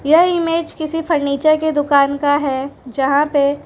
यह इमेज किसी फर्नीचर की दुकान का है जहां पे --